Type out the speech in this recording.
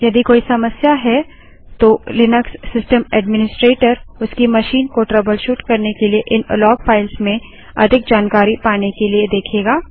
यदि कोई समस्या है तो लिनक्स सिस्टम ऐड्मिनिस्ट्रेटर उसकी मशीन को ट्रबलशूट करने के लिए इन लॉग फाइल्स में अधिक जानकारी पाने के लिए देखेगा